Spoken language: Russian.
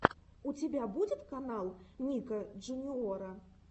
у тебя будет канал ника джуниора